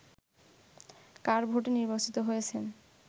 কার ভোটে নির্বাচিত হয়েছেন